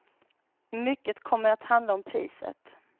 Mycket kommer att handla om priset.